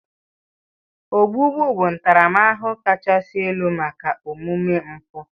Ogbugbu bụ ntaramahụhụ kachasị elu maka omume mpụ.